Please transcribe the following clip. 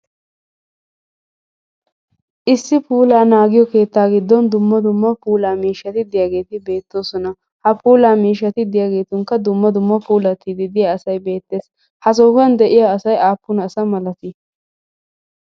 Issi puulla naagoyo keettaa giddon dumma dumma puulla miishshati diyaageti beettosona, ha puullaa miishatti diyagettunkka dumma dumma asay puullattidi diyaage beettes. Ha sohuwaan de'iyaa asay aapun asa malatti?